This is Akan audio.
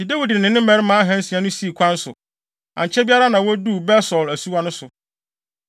Enti Dawid ne ne mmarima ahansia no sii kwan so. Ankyɛ biara na woduu Besor asuwa no so.